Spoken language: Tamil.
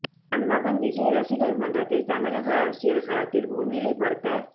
தன் மகன் விஜய் ரசிகர் மன்றத்தை தமிழக அரசியல் களத்தில் முன்னிலைப்படுத்த